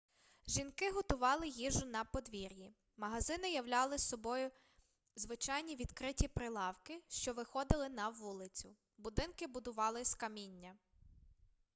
жінки готували їжу на подвір'ї магазини являли собою звичайні відкриті прилавки що виходили на вулицю будинки будували з каміння